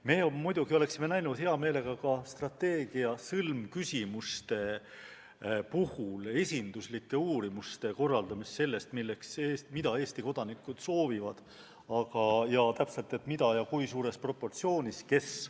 Me muidugi oleksime näinud hea meelega ka strateegia sõlmküsimuste puhul esinduslike uurimuste korraldamist selle kohta, mida täpselt Eesti kodanikud soovivad, kui suures proportsioonis ja täpselt kes.